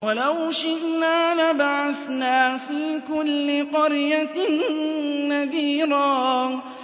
وَلَوْ شِئْنَا لَبَعَثْنَا فِي كُلِّ قَرْيَةٍ نَّذِيرًا